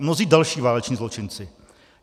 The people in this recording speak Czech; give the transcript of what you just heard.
A mnozí další váleční zločinci.